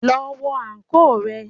Lọ wọ àǹkóò rẹ.